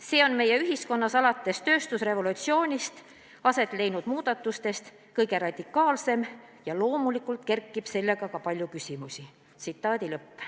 See on meie ühiskonnas alates tööstusrevolutsioonist aset leidnud muutustest kõige radikaalsem ning loomulikult kerkib sellega seoses palju küsimusi.